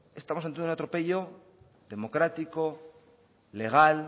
estamos ante un atropello democrático legal